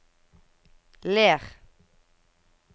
Ler